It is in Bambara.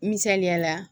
Misaliyala